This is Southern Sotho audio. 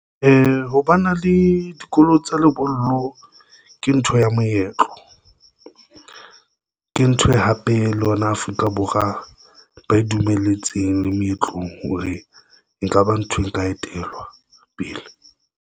Ho ba na le dikolo tsa lebollo ke ntho ya moetlo, ke ntho e hape le yona Afrika Borwa ba e dumelletsweng le meetlong hore nka ba nthwe, nka etellwa pele.